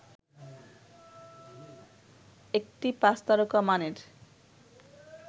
একটি পাঁচতারকা মানের